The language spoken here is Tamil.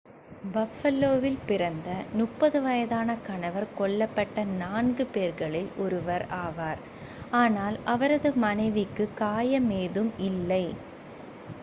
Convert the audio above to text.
பஃபலோவில் பிறந்த 30 வயதான கணவர் கொல்லப்பட்ட நான்கு four பேர்களில் ஒருவர் one ஆவார். ஆனால் அவரது மனைவிக்கு காயம் ஏதும் இல்லை